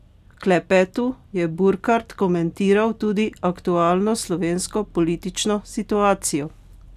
V klepetu je Burkart komentiral tudi aktualno slovensko politično situacijo.